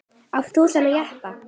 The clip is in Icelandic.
Átt þú þennan jeppa?